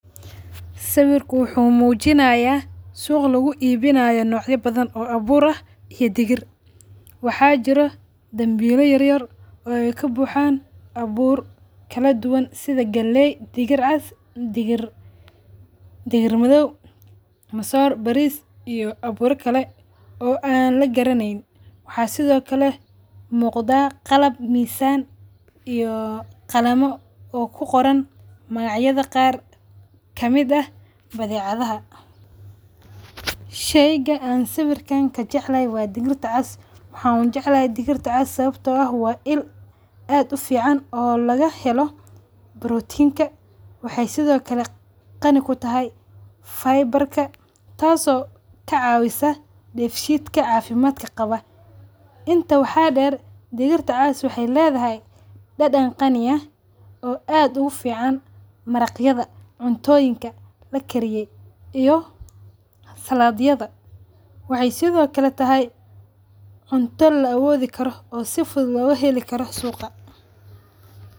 Sawirka wuxu mujinaya sug lagu ibinayo noocya badhaan oo abuur ah iyo digiir. Waxa jiiro danbiil yaryar oo ay kabuxaan abuur kaladuwan sidha; galeey, digiir caas iyo digiir madhow, masoor, baris iyo abuura kale oo an lagaranaynin. Waxa sidhokale muqda; qalaab, mizan iyo qalamo oo kuqoran magac yadha qaar kamid aah badhecyadha. Shayga aan sawirka kajeclhy waa digiirta caas, waxa ujeclahay digiirta caas sababto ah waa ill aad ufican oo lagahelo protein ka waxay sidha kale qanii kutahy fibre ka taaso kacawisa deef shitka cafimadka qawa. Intaan waxa deer digirta caaska waxay ledadhy dadaan qanii aah oo aad ugaficaan maraq yadha cuntoyiinka lakariyo iyo salaad yadh. Waxa sidho kale tahay cunta la awodhi karo oo si fudhuut loo helui karo suuga.